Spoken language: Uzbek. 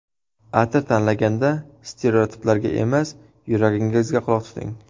Atir tanlaganda stereotiplarga emas, yuragingizga quloq tuting.